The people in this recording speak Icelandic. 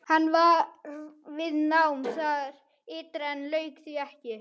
Hann var við nám þar ytra en lauk því ekki.